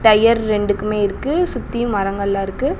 Tyre ரெண்டுக்குமே இருக்கு சுத்தியு மரங்கள்லா இருக்கு.